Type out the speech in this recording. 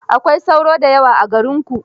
Akwai sauro da yawa a garinku?